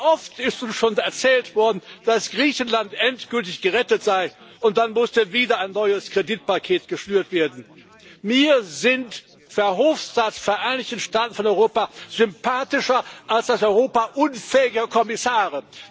Wie oft ist uns schon erzählt worden, dass Griechenland endgültig gerettet sei, und dann musste wieder ein neues Kreditpaket geschnürt werden. Mir sind Verhofstadts Vereinigte Staaten von Europa sympathischer als das Europa unfähiger Kommissare.